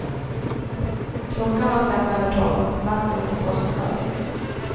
Klockan var fem över tolv, natten mot påskdagen.